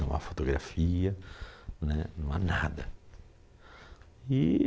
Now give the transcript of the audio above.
Não há fotografia né, não há nada. E